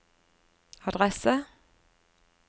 adresse